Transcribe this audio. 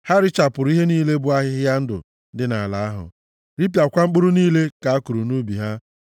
ha richapụrụ ihe niile bụ ahịhịa ndụ dị nʼala ahụ, ripịakwa mkpụrụ niile ha kụrụ nʼubi ha.